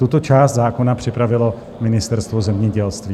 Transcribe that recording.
Tuto část zákona připravilo Ministerstvo zemědělství.